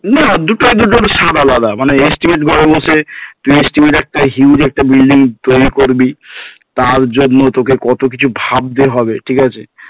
না দুটোই দুটোর স্বাদ আলাদা মানে estimate ঘরে বসে তুই estimate একটা huge একটা building তৈরী করবি তার জন্য তোকে কত কিছু ভাবতে হবে ঠিক আছে